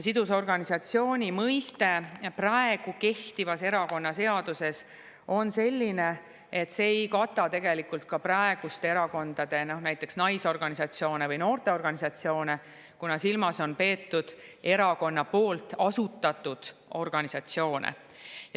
Sidusorganisatsiooni mõiste praegu kehtivas erakonnaseaduses on selline, et see tegelikult ei kata näiteks praeguseid erakondade naisorganisatsioone või noorteorganisatsioone, kuna silmas on peetud erakonna poolt asutatud organisatsioone.